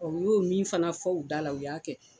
Ɔ , u y'o min fana fɔ u da la u y'a kɛ.